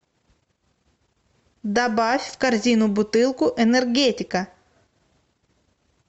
добавь в корзину бутылку энергетика